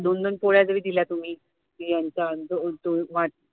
दोन दोन पोळ्या जरी दिल्या तुम्ही कि यांचं